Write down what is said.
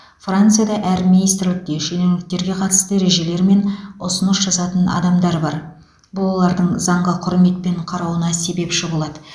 францияда әр министрлікте шенеуніктерге қатысты ережелер мен ұсыныс жазатын адамдар бар бұл олардың заңға құрметпен қарауына себепші болады